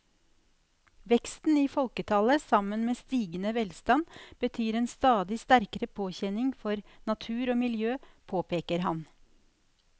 Veksten i folketallet sammen med stigende velstand betyr en stadig sterkere påkjenning for natur og miljø, påpeker han.